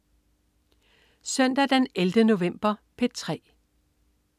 Søndag den 11. november - P3: